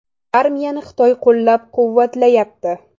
Armiyani Xitoy qo‘llab-quvvatlayapti.